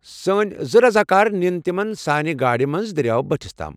سٲنہِ زٕ رضاکار نِن تِمن سانہِ گاڑِ منٛز دٔریاو بٔٹھس تام۔